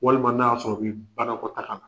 Walima n'a'a sɔrɔ o b'i banakɔtakala